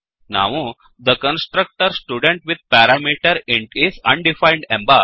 ನಾವು the constructor student with parameter is undefined